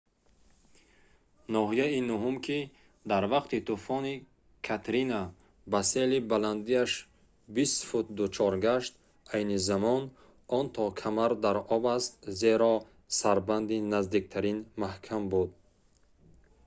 ноҳияи нӯҳум ки дар вақти тӯфони катрина ба сели баландиаш 20 фут дучор гашт айни замон он то камар дар об аст зеро сарбанди наздиктарин маҳкам буд